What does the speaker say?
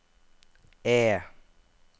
E